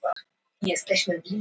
Baddi, hvað er að frétta?